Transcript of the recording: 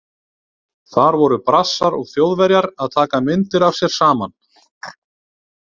Þar voru Brassar og Þjóðverjar að taka myndir af sér saman.